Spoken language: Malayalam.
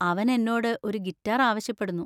അവൻ എന്നോട് ഒരു ഗിറ്റാർ ആവശ്യപ്പെടുന്നു.